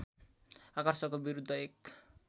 आकर्षणको विरुद्ध एक